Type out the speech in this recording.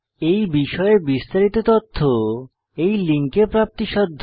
এই বিষয়ে বিস্তারিত তথ্য এই লিঙ্কে প্রাপ্তিসাধ্য